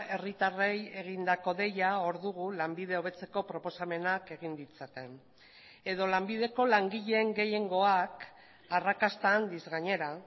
herritarrei egindako deia hor dugu lanbide hobetzeko proposamenak egin ditzaten edo lanbideko langileen gehiengoak arrakasta handiz gainera